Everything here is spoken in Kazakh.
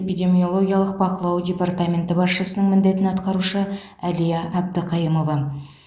эпидемиологиялық бақылау департаменті басшысының міндетін атқарушы әлия әбдіқайымова